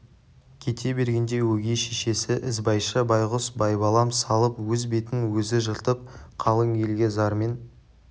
кете бергенде өгей шешесі ізбайша байғұс байбалам салып өз бетін өзі жыртып қалың елге зармен